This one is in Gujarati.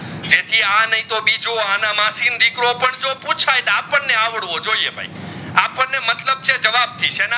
તે થી આ નહીં તો બીજું આના માસી નો દીકરો પૂછાઇ તો આપણે આવડવો જોઇયે ભાઈ આપણે મતલબ છે જવાબ થી સેના